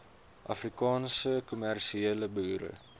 afrikaanse kommersiële boere